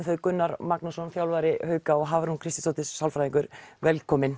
þau Gunnar Magnússon þjálfari hauka og Hafrún Kristjánsdóttir sálfræðingur velkomin